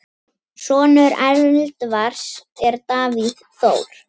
Sonur Elvars er Davíð Þór.